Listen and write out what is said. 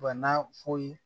Bana foyi